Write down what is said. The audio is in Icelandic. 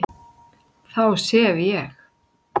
Þá sef ég